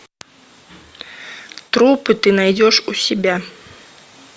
трупы ты найдешь у себя